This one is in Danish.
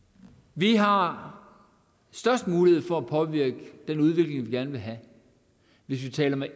vi har størst mulighed for at påvirke den udvikling vi gerne vil have hvis vi taler med